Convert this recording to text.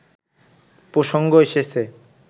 প্রসঙ্গ এসেছে